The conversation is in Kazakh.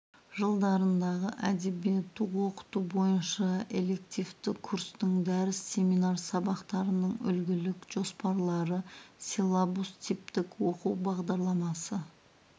жылдарындағы әдебиетті оқыту бойынша элективті курстың дәріс семинар сабақтарының үлгілік жоспарлары силлабус типтік оқу бағдарламасы